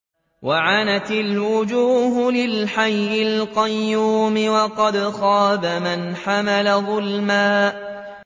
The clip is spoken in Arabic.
۞ وَعَنَتِ الْوُجُوهُ لِلْحَيِّ الْقَيُّومِ ۖ وَقَدْ خَابَ مَنْ حَمَلَ ظُلْمًا